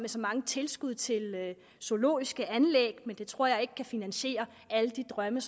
så mange tilskud til zoologiske anlæg men det tror jeg ikke kan finansiere alle de drømme